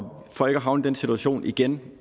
for ikke at havne i den situation igen